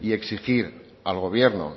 y exigir al gobierno